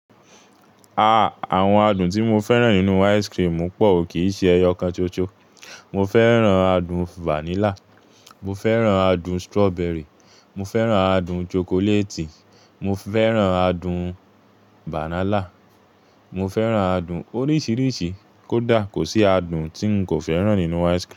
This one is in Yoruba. Ah! Àwọn adùn tí mo fẹ́ràn nínú ice cream pọ̀, kì í ṣe ẹyọ kan ṣoṣo. Mo fẹ́ràn adùn vanilla, mo fẹ́ràn adùn strawberry, mo fẹ́ràn adùn chocolate, mo fẹ́ràn adùn banana, mo fẹ́ràn adùn oríṣiríṣi. Kódà kò sí adùn tí n kò fẹ́ràn nínú ice cream.